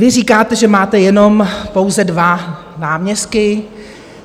Vy říkáte, že máte jenom pouze dva náměstky.